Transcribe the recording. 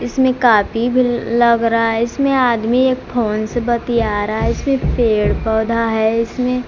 इसमें कॉपी भी लग रहा है इसमें आदमी एक फोन से बतिया रहा है इसमें पेड़ पौधा है इसमें--